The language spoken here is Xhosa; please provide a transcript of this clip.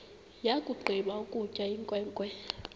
yakugqiba ukutya inkwenkwe